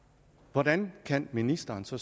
hvordan kan ministeren så